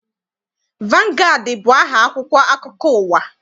Vangaadị bụ aha akwụkwọ akụkọ ụwa.